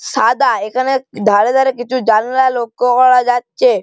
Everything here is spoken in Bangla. সাদা এখানে ধারে ধারে কিছু জানলা লক্ষ্য করা যাচ্ছে।